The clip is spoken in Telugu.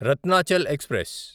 రత్నాచల్ ఎక్స్ప్రెస్